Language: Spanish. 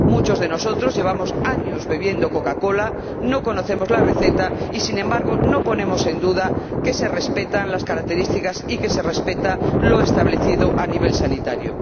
Muchos de nosotros llevamos años bebiendo Coca Cola, no conocemos la receta y, sin embargo, no ponemos en duda que se respetan las características y que se respeta lo establecido a nivel sanitario.